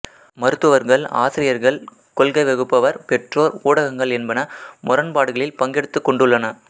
மருத்துவர்கள் ஆசிரியர்கள் கொள்கை வகுப்பவர் பெற்றோர் ஊடகங்கள் என்பன முரண்பாடுகளில் பங்கெடுத்துக்கொண்டுள்ளன